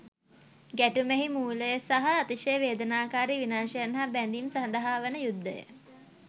ගැටුමෙහි මූලය සහ අතිශය වේදනාකාරී විනාශයන් හා බෙදීම් සඳහා වන යුද්ධය